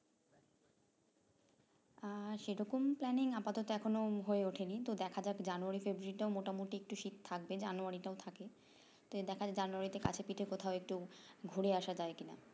আর সেরকম planning আপাতত এখনো হয়ে ওঠেনি তো দেখা যাক january february টাও মোটামুটি একটু শীত থাকবে january তেও থাকে তো দেখা যাক january তে কাছেপিঠে কোথায় একটু ঘুরে আসা যায় কিনা